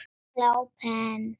Ég glápi enn.